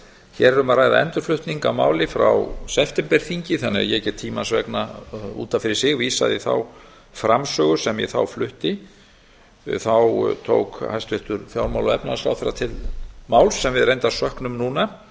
hér er um að ræða endurflutning á máli frá septemberþingi þannig að ég get tímans vegna út af fyrir sig vísað í þá framsögu sem ég þá flutti tók hæstvirtur fjármála og efnahagsráðherra til máls sem við reyndar söknum núna